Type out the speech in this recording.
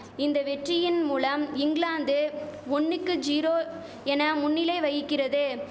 இந்த வெற்றியின் மூலம் இங்கிலாந்து ஒன்னுக்கு ஜீரோ என முன்னிலை வகிக்கிறது